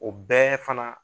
O bɛɛ fana